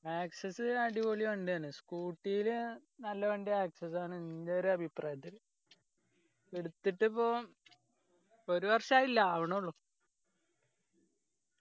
access adipoli വണ്ടിയാണ് scooty ല് നല്ല വണ്ടി access ആണ് എൻ്റെ ഒരഭിപ്രായത്തിൽ എടുത്തിട്ടിപ്പോ ഒരു വർഷം ആയില്ല ആവണേള്ളൂ